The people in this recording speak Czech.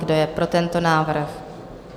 Kdo je pro tento návrh?